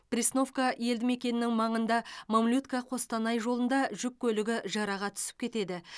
пресновка елдімекенінің маңында мамлютка қостанай жолында жүк көлігі жыраға түсіп кетеді